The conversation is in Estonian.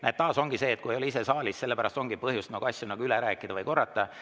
Näete, taas ongi sedasi, et kui ei ole ise saalis, siis on põhjust asju üle rääkida või korrata.